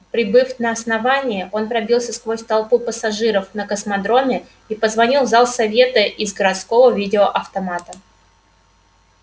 прибыв на основание он пробился сквозь толпу пассажиров на космодроме и позвонил в зал совета из городского видеоавтомата